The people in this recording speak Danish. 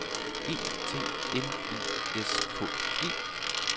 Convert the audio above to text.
E T N I S K E